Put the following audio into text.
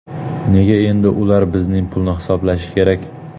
Nega endi ular bizning pulni hisoblashi kerak?